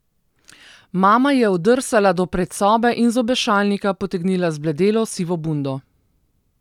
Mama je oddrsala do predsobe in z obešalnika potegnila zbledelo sivo bundo.